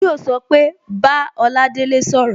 Yo so pé Bá Oladele sọ̀rọ̀